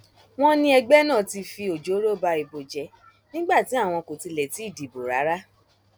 wọn ní ẹgbẹ nna ti fi ọjọọrọ ba ìbò jẹ nígbà tí àwọn kò tilẹ tì í dìbò rárá